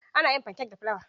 Ana yin fankek da fulawa.